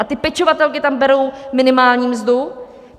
A ty pečovatelky tam berou minimální mzdu?